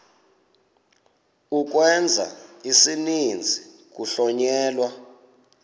ukwenza isininzi kuhlonyelwa